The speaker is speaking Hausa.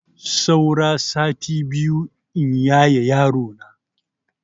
Saura sati biyu in yaye yarona.